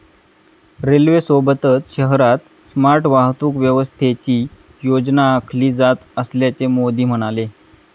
रेल्वेसोबतच शहरात स्मार्ट वाहतूक व्यवस्थेची योजना आखली जात असल्याचे मोदी म्हणाले.